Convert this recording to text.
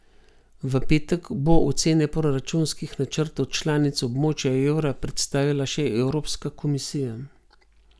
V petek bo ocene proračunskih načrtov članic območja evra predstavila še evropska komisija.